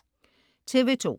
TV2: